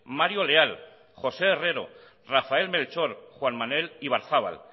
mario leal josé herrero rafael melchor juan manuel ibarzabal